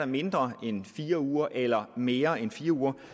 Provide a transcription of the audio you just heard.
mindre end fire uger eller i mere end fire uger